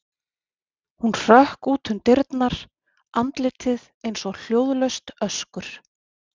Hún hrökk út um dyrnar, andlitið eins og hljóðlaust öskur.